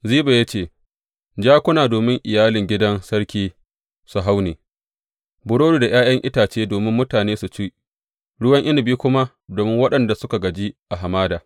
Ziba ya ce, Jakuna domin iyalin gidan sarki su hau ne, burodi da ’ya’yan itace domin mutane su ci, ruwan inabi kuma domin waɗanda suka gaji a hamada.